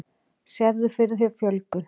Sérðu fyrir þér fjölgun?